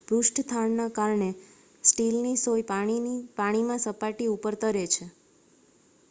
પૃષ્ઠતાણના કારણે સ્ટીલની સોય પાણીમાં સપાટી ઉપર તરે છે